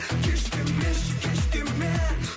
кеш демеші кеш деме